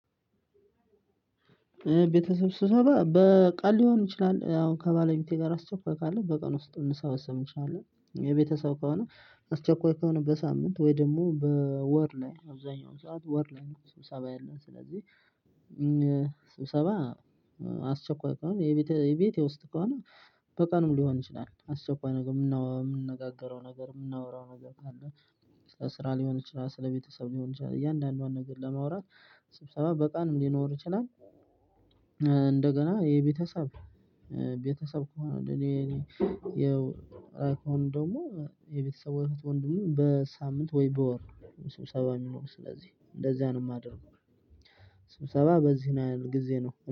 ቤተሰብ ስብሰባ በቀን ሊሆን ይችላል ያው ከባለቤቴ ጋር አስቸኳይ ካለ በቀን ውስጥ እንሰበሰብ እንችላለን፣ የቤተሰብ ከሆነ አስቸኳይ ከሆነ በሳምንት ወይ ደግሞ በወር ነው አብዛኛው ሰዓት ወር ላይ ነው ስብሰባ ያለን። ስለዚህ ስብሰባ አስቸኳይ ከሆነ የቤቴ ውስጥ ከሆነ በቀንም ሊሆን ይችላል። አስቸኳይ ነገር የምንነጋገረው ነገር የምናወራው ነገር ካለ ስለ ስራ ሊሆን ይችላል ስለ ቤተሰብ ሊሆን ይችላል እያንዳንዷን ነገር ለማውራት ስብሰባ በቀን ሊኖር ይችላል። እንደገና የቤተሰብ ቤተሰብ ከሆነ እኔ እኔ ያው እንደሆነ የቤተሰብ ወይም ወንድሙን በሳምንት ወይ በወር ስብሰባ የሚኖር። ስለዚህ እንደዚያ ነው የማደርገው። ስብሰባ በዚህ ይህል ጊዜ ነው።